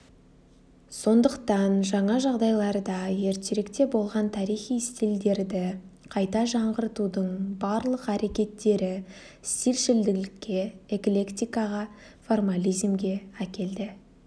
сондықтан жаңа жағдайларда ертеректе болған тарихи стильдерді қайта жаңғыртудың барлық әрекеттері стильшілділікке эклектикаға формализмге әкелді